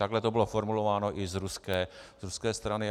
Takhle to bylo formulováno i z ruské strany.